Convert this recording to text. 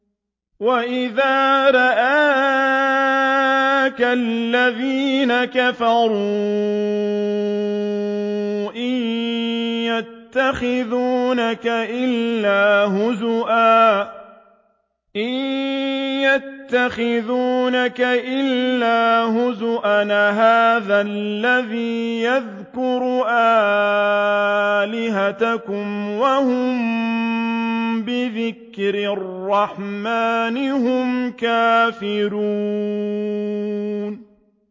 وَإِذَا رَآكَ الَّذِينَ كَفَرُوا إِن يَتَّخِذُونَكَ إِلَّا هُزُوًا أَهَٰذَا الَّذِي يَذْكُرُ آلِهَتَكُمْ وَهُم بِذِكْرِ الرَّحْمَٰنِ هُمْ كَافِرُونَ